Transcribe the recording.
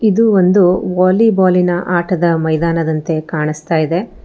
ಇದು ಒಂದು ವಾಲಿಬಾಲಿನ ಆಟದ ಮೈದಾನದಂತೆ ಕಾಣಿಸ್ತಾಯಿದೆ.